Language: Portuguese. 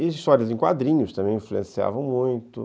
Histórias em quadrinhos também influenciavam muito.